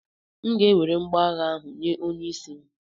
M ga-ewere mgboagha ahụ nye onye isi m.